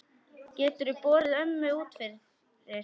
Geturðu borið ömmu út fyrir?